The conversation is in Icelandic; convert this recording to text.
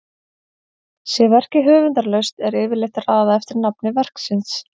Sé verkið höfundarlaust er yfirleitt raðað eftir nafni verksins.